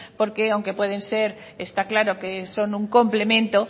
porque aunque está claro son un complemento